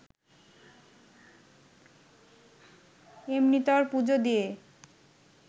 এমনিতর পুজো দিয়ে